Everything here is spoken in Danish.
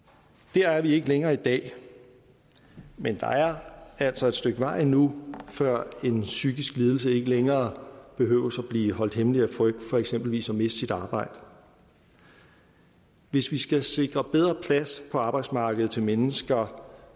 der er vi ikke længere i dag men der er altså et stykke vej endnu før en psykisk lidelse ikke længere behøver at blive holdt hemmelig af frygt for eksempelvis at miste sit arbejde hvis vi skal sikre bedre plads på arbejdsmarkedet til mennesker